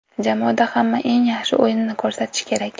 Jamoada hamma eng yaxshi o‘yinini ko‘rsatishi kerak.